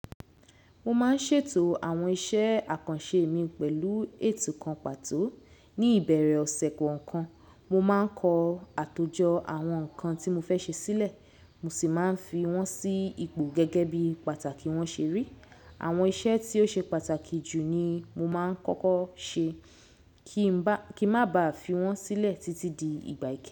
Mo máa ń ṣètò àwọn iṣẹ́ àkànṣe mi pẹ̀lú ètò kan pàtó. Ni ìbẹ̀rẹ̀ ọ̀sẹ̀ kọ̀ọ̀kan, mo máa ń kọ àtòjọ àwọn nǹkan tí mo fẹ́ ṣe sílẹ̀, mo sì máa ń fi wọ́n sí ipò gẹ́gẹ́ bí pàtàkì wọn ṣe rí. Àwọn iṣẹ́ tí ó ṣe pàtàkì jù ni mo máa ń kọ́kọ́ ṣe, kí má ba fi wọ́n sílẹ̀ títí di ìgbà ìkẹ.